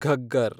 Ghaggar